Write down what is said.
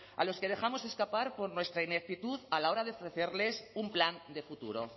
a los que dejamos escapar por nuestra ineptitud a la hora de ofrecerles un plan de futuro